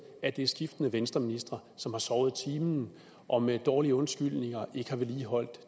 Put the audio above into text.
at det er skiftende venstreministre som har sovet i timen og med dårlige undskyldninger ikke har vedligeholdt